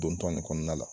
Dontaa nin kɔnɔna la